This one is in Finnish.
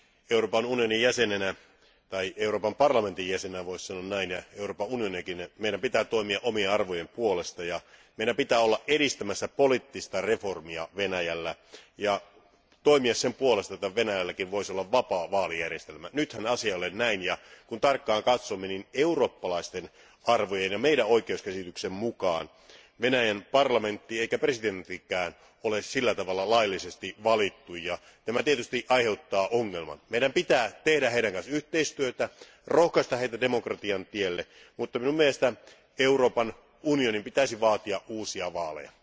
Euroopan parlamentin jäsenenä ja Euroopan unionina meidän pitää toimia omien arvojemme puolesta ja meidän pitää olla edistämässä poliittista reformia Venäjällä ja toimia sen puolesta, että Venäjälläkin voisi olla vapaa vaalijärjestelmä. Nythän asia ei ole näin, ja kun tarkkaan katsomme, niin eurooppalaisten arvojen ja meidän oikeuskäsityksemme mukaan Venäjän parlamentti eikä presidenttikään ole laillisesti valittu ja tämä tietysti aiheuttaa ongelman. Meidän pitää tehdä heidän kanssaan yhteistyötä, rohkaista heitä demokratian tielle, mutta mielestäni Euroopan unionin pitäisi vaatia uusia vaaleja.